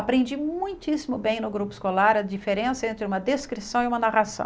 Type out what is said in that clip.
Aprendi muitíssimo bem no grupo escolar a diferença entre uma descrição e uma narração.